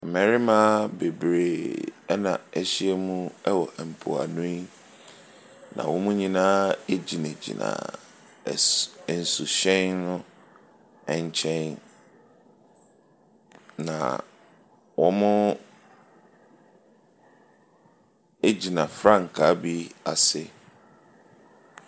Mmarima bebree na wɔahyiam wɔ mpoano yi, na wɔn nyinaa gyinagyina as nsuhyɛn no nkyɛn, na wɔgyina frankaa bi ase.